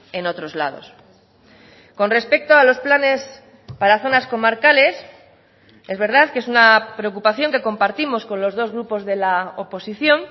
en otros lados con respecto a los planes para zonas comarcales es verdad que es una preocupación que compartimos con los dos grupos de la oposición